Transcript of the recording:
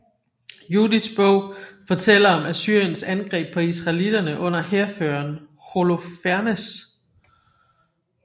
Judits Bog fortæller om Assyriens angreb på israelitterne under hærføreren Holofernes